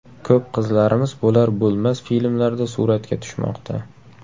Ko‘p qizlarimiz bo‘lar-bo‘lmas filmlarda suratga tushmoqda.